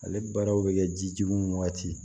Ale baaraw bɛ kɛ jijuni waati